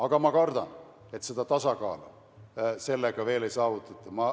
Aga ma kardan, et tasakaalu sellega veel ei saavutata.